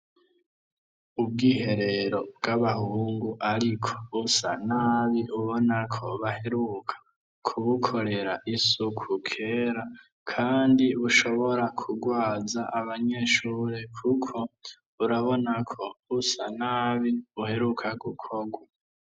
Ubwiherero bw'abahungu ariko busa nabi ubona ko baheruka kubukorera isuku kera kandi bushobora kugwaza abanyeshure kuko urabona ko busa nabi uheruka gukorwa.